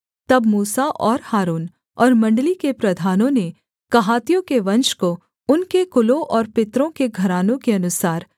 तब मूसा और हारून और मण्डली के प्रधानों ने कहातियों के वंश को उनके कुलों और पितरों के घरानों के अनुसार